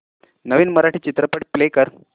नवीन मराठी चित्रपट प्ले कर